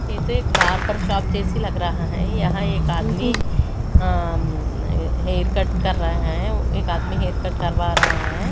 ये तो एक बारबार शॉप जैसी लग रहा है यहां एक आदमी अ-म हेयर कट कर रहा है एक आदमी हेयर कट करवा रहा है।